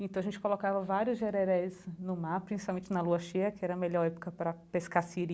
Então a gente colocava vários jererés no mar, principalmente na Lua Cheia, que era a melhor época para pescar siri,